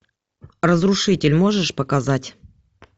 разрушитель можешь показать